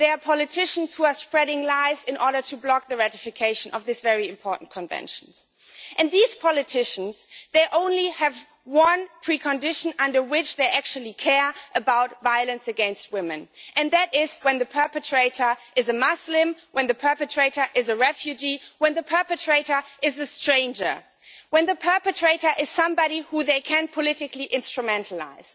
There are politicians who are spreading lies in order to block the ratification of this very important Convention, and these politicians only have one pre condition under which they actually care about violence against women, and that is when the perpetrator is a Muslim, when the perpetrator is a refugee, when the perpetrator is a stranger when the perpetrator is somebody who they can politically instrumentalise.